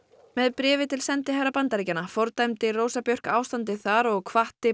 með bréfi til sendiherra Bandaríkjanna fordæmdi Rósa Björk ástandið þar og hvatti